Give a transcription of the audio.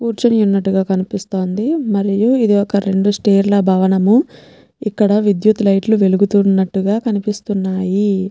కూర్చొని యున్నట్లుగా కనిపిస్తోంది మరియు ఇది ఒక్క రెండు స్టేర్ ల భవనము ఇక్కడ విద్యుత్ లైట్ లు వెలుగుతునటుగా కనిపిస్తున్నాయి.